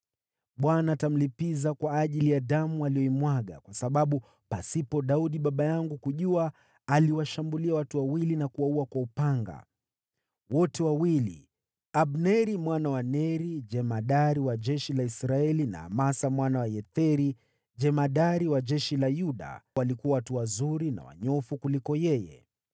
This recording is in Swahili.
Bwana atamlipiza kwa ajili ya damu aliyoimwaga, kwa sababu pasipo Daudi baba yangu kujua, aliwashambulia watu wawili na kuwaua kwa upanga. Wote wawili, Abneri mwana wa Neri, jemadari wa jeshi la Israeli, na Amasa mwana wa Yetheri, jemadari wa jeshi la Yuda, walikuwa watu wazuri na wanyofu kuliko yeye.